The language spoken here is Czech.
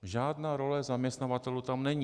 Žádná role zaměstnavatelů tam není.